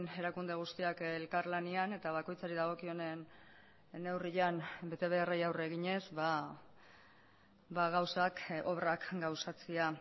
erakunde guztiak elkarlanean eta bakoitzari dagokionen neurrian betebeharrei aurre eginez gauzak obrak gauzatzea